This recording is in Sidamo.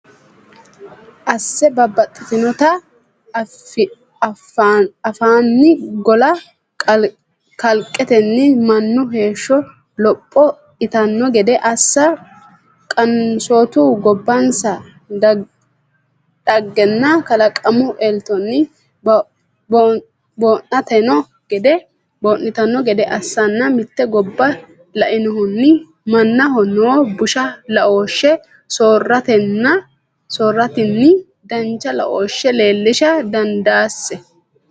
assa Babbaxxitinota afi’nanni golla kalaqatenni mannu heeshsho loph- itanno gede assa Qansootu gobbansa dhaggenninna kalaqamu eltonni boo’nitanno gede assanna Mitte gobba lainohunni mannaho noo busha laooshshe soorratenni dancha laooshshe leellisha dandaasi.